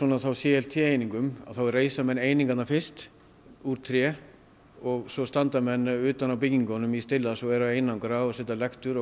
c f t einingum þá reisa menn einingarnar fyrst úr tré og svo standa menn utan á byggingunum í stillans og eru að einangra og setja lektur og